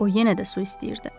O yenə də su istəyirdi.